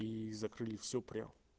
и закрыли все прям